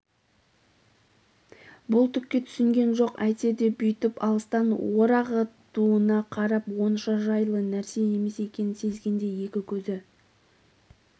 бұл түкке түсінген жоқ әйтсе де бүйтіп алыстан орағытуына қарап онша жайлы нәрсе емес екенін сезгендей екі көзі